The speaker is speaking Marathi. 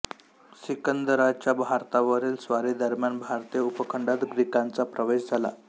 सिकंदराच्या भारतावरील स्वारीदरम्यान भारतीय उपखंडात ग्रीकांचा प्रवेश झाला